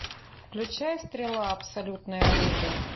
включай стрела абсолютное оружие